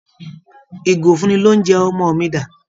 Ìgò ìfúnni-lóunjẹ ọmọ mi dà?